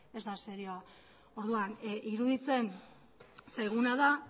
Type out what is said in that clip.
ez da serioa orduan iruditzen zaiguna da